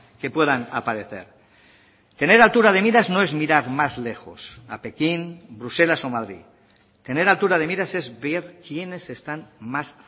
que puedan aparecer tener altura de miras no es mirar más lejos a pekín bruselas o madrid tener altura de miras es ver quiénes están más